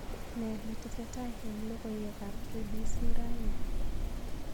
Ne netesetai eng logoywekab k.b.c raini